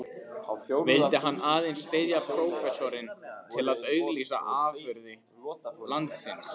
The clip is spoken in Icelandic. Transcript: Vildi hann aðeins styðja prófessorinn til að auglýsa afurðir landsins?